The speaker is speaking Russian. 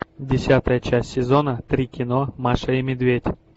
десятая часть сезона три кино маша и медведь